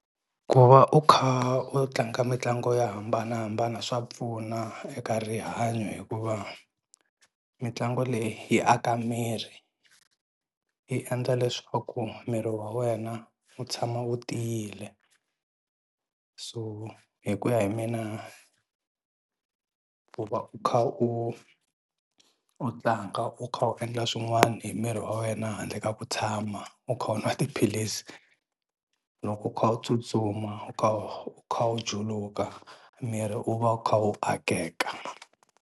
Ku va u kha u tlanga mitlangu yo hambanahambana swa pfuna eka rihanyo hikuva mitlangu leyi yi aka miri yi endla leswaku miri wa wena wu tshama wu tiyile. So hi ku ya hi mina ku va u kha u u tlanga u kha u endla swin'wani hi miri wa wena handle ka ku tshama u kha u nwa tiphilisi, loko u kha u tsutsuma u kha u juluka miri wu va wu kha wu akeka.